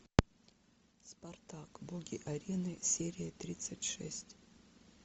спартак боги арены серия тридцать шесть